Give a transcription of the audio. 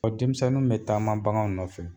Ɔ denmisɛnnuw be taama bagan nɔfɛ